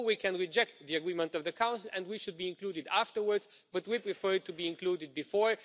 Or we can reject the agreement of the Council and we should be included afterwards, but we prefer it to be included before.